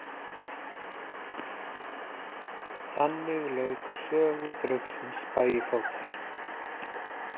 Þannig lauk sögu draugsins Bægifótar.